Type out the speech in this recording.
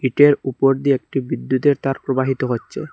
টের উপর দিয়ে একটি বিদ্যুতের তার প্রবাহিত হচ্চে।